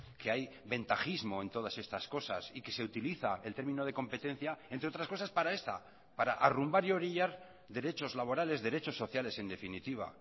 que hay ventajismo en todas estas cosas y que se utiliza el término de competencia entre otras cosas para esta para arrumbar y orillar derechos laborales derechos sociales en definitiva